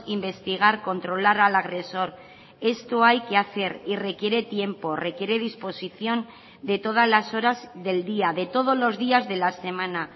investigar controlar al agresor esto hay que hacer y requiere tiempo requiere disposición de todas las horas del día de todos los días de la semana